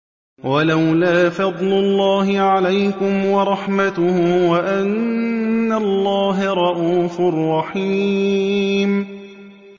وَلَوْلَا فَضْلُ اللَّهِ عَلَيْكُمْ وَرَحْمَتُهُ وَأَنَّ اللَّهَ رَءُوفٌ رَّحِيمٌ